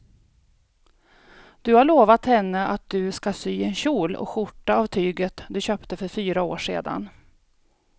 Du har lovat henne att du ska sy en kjol och skjorta av tyget du köpte för fyra år sedan.